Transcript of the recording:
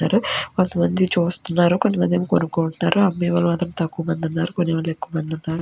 ఉన్నారు కొంతమంది చూస్తున్నారు. కొంతమంది ఏమో కొనుకుంటున్నారు. అమ్మే వాళ్ళు మాత్రం తక్కువగా ఉన్నారు. కొంతమంది ఎక్కువ మంది ఉన్నారు.